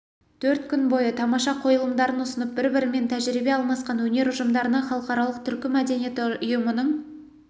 төрт күн бойы тамаша қойылымдарын ұсынып бір-бірімен тәжірибе алмасқан өнер ұжымдарына халықаралық түркі мәдениеті ұйымының